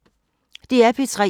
DR P3